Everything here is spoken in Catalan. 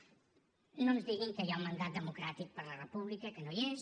no ens diguin que hi ha un mandat democràtic per a la república que no hi és